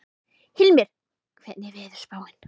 Hilmir, hvernig er veðurspáin?